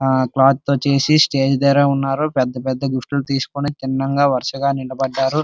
ఆ క్లాత్ తో చేసి స్టేజ్ దగ్గర ఉన్నారు పెద్ద పెద్ద గిఫ్ట్లు తీసుకొని తిన్నగా వరుసగా నిలబడ్డారు.